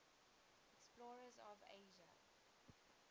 explorers of asia